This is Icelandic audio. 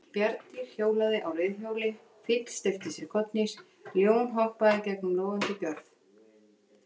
Bjarndýr hjólaði á reiðhjóli, fíll steypti sér kollhnís, ljón hoppaði gegnum logandi gjörð.